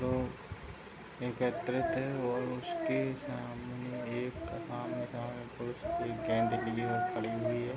लोग एकत्रित है और उसके सामने एक पर एक गेंद लिए हुए खड़ी हुई है।